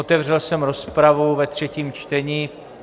Otevřel jsem rozpravu ve třetím čtení.